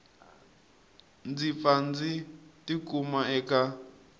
ndzi pfa ndzi tikuma eka